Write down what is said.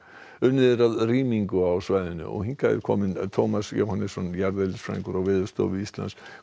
unnið er að rýmingu á svæðinu hingað er kominn Tómas Jóhannesson jarðeðlisfræðingur á Veðurstofu Íslands